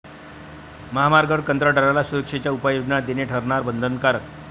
महामार्गावर कंत्राटदाराला सुरक्षेच्या उपाययोजना देणे ठरणार बंधनकारक!